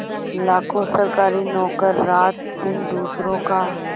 लाखों सरकारी नौकर रातदिन दूसरों का